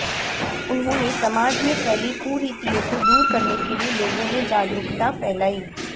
उन्होंने समाज में फैली कुरीतियों को दूर करने के लिए लोगों में जागरूकता फैलाई